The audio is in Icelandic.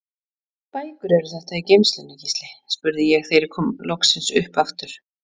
Hvaða bækur eru þetta í geymslunni, Gísli? spurði ég þegar ég kom loksins upp aftur.